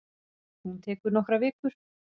Hún tekur nokkrar vikur.